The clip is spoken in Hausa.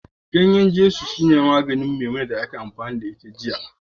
Gaye gini yesu shine maganin Memunant 'yar da aka yi amfani da ita jiya